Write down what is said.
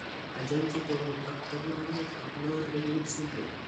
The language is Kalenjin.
Achon chetogu ak kaborunoik ab Lowry Wood syndrome?